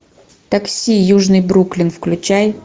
такси южный бруклин включай